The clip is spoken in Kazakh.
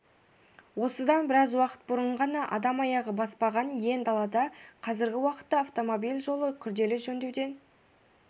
осыдан біраз уақыт бұрын ғана адам аяғы баспаған иен далада қазіргі уақытта автомобиль жолы күрделі жөндеуден